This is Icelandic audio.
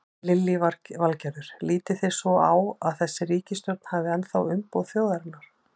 Lillý Valgerður: Lítið þið svo á að þessi ríkisstjórn hafi ennþá umboð þjóðarinnar?